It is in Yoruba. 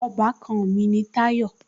Ọbàkan mi ni Táyọ̀